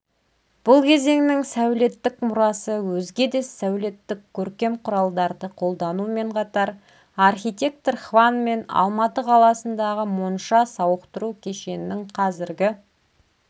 бұл кезеңнің сәулеттік мұрасы өзге де сәулеттік-көркем құралдарды қолданумен қатар архитектор хванмен алматы қаласындағы монша-сауықтыру кешеннің қазіргі